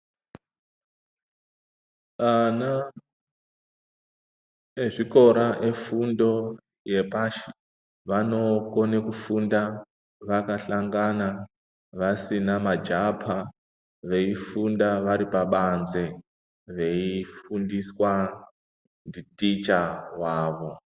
Ana ezvikora efundo yapashi vanokone kufunda vakahlangana vasina majapa veifunda vari pabanze veifundiswa nditicha wavo.